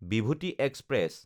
Bibhuti express